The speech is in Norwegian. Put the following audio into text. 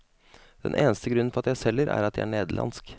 Den eneste grunnen for at jeg selger, er at jeg er nederlandsk.